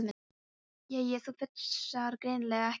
Jæja, þú fúlsar greinilega ekki við þessu.